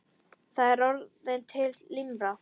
Það er orðin til limra!